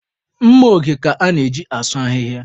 Mma oge ka a na-eji asụ ahịhịa.